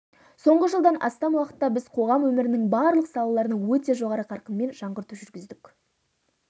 соңғы жылдан астам уақытта біз қоғам өмірінің барлық салаларына өте жоғары қарқынмен жаңғырту жүргіздік